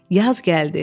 Yaz gəldi.